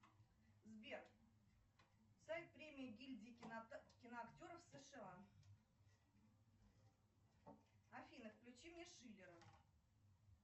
сбер сайт премии гильдии киноактеров сша афина включи мне шиллера